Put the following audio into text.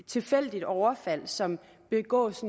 tilfældigt overfald som begås